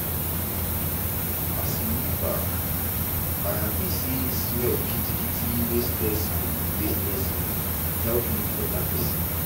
asi look back i happy say smell kitikiti wey stress me wey stress me help me be beta pesin.